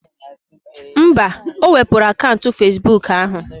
Mba, o wepuru akaụntụ Fezbuk ahụ